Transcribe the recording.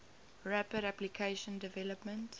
rapid application development